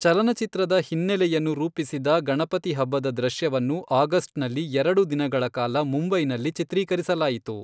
ಚಲನಚಿತ್ರದ ಹಿನ್ನೆಲೆಯನ್ನು ರೂಪಿಸಿದ ಗಣಪತಿ ಹಬ್ಬದ ದೃಶ್ಯವನ್ನು ಆಗಸ್ಟ್ನಲ್ಲಿ ಎರಡು ದಿನಗಳ ಕಾಲ ಮುಂಬೈನಲ್ಲಿ ಚಿತ್ರೀಕರಿಸಲಾಯಿತು.